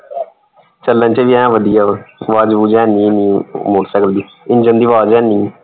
ਚੱਲਣ ਚ ਵੀ ਐਨ ਵਧੀਆ ਵਾ। ਆਵਾਜ਼ ਅਵੁਜ਼ ਹੈਨੀ ਏਨ੍ਹੀ motorcycle ਦੀ engine ਦੀ ਆਵਾਜ਼ ਹੈਨੀ।